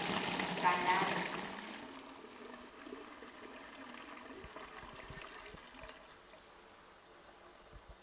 kanana